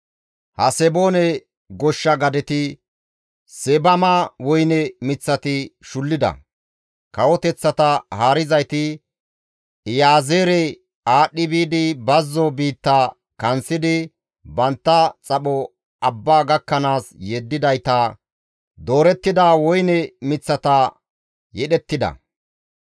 Haseboone goshsha gadeti Seebama woyne miththati shullida; kawoteththata haarizayti Iyaazeere aadhdhi biidi bazzo biitta kanththidi bantta xapho abba gakkanaas yeddidayta doorettida woyne miththata yedhettida.